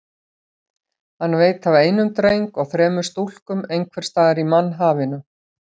Hann veit af einum dreng og þremur stúlkum einhvers staðar í mannhafinu.